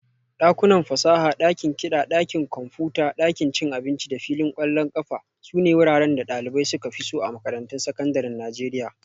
Dakunan fasaha, dakin kiɗa, ɗakin kwamfuta, ɗakin cin abinci da filin ƙwallon ƙafa sune wuraren da ɗalibai suka fi so a makarantun sakandaren Najeriya